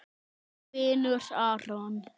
Þinn vinur Aron.